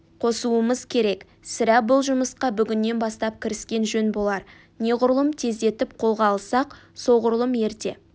қосуымыз керек сірә бұл жұмысқа бүгіннен бастап кіріскен жөн болар неғұрлым тездетіп қолға алсақ солғұрлым ерте